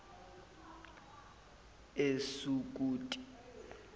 esukuti